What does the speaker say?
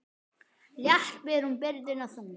Létt ber hún byrðina þungu.